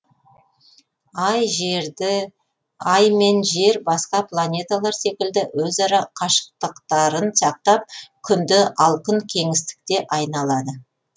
ай жерді ай мен жер басқа планеталар секілді өзара қашықтықтарын сақтап күнді ал күн кеңістікте айналады